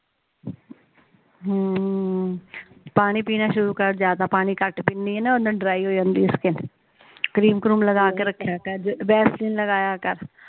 ਹਮ ਪਾਣੀ ਪੀਣਾ ਸ਼ੁਰੂ ਕਰ ਜਾਦਾ ਪਾਣੀ ਕੱਟ ਪੀਂਦੀ ਆ ਨਾ ਓਹਨਾ ਡ੍ਰਾਈ ਹੋ ਜਾਂਦੀ ਸਕੀਨ ਕਰਿਮ ਕਰੂਮ ਲਾ ਕੇ ਰੱਖਿਆ ਕਰ ਵੈਸਲੀਨ ਲਗਾਇਆ ਕਰ